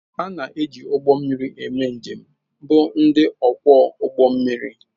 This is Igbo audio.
Ndị na-eji ụgbọ mmiri eme njem bụ ndị ọkwọ ụgbọ mmiri.